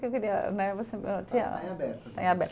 Em aberto aqui. É aberto